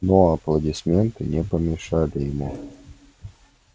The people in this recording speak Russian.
но аплодисменты не помешали ему